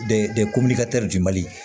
De komini ka di mali